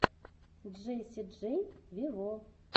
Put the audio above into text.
джесси джей вево